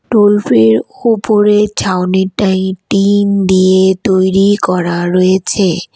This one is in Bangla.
টোল ফি -এর উপরে ছাউনিটা টিন দিয়ে তৈরি করা রয়েছে।